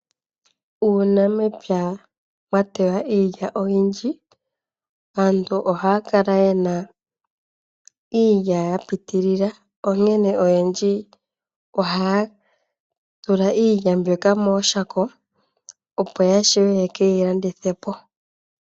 Ngele aanamapya ya teya iilya oyindji. Aantu ohaya kala yena iilya ya piitilila. Onkene oyendji ohaya tula iilya mooshako opo ye keyi landithepo.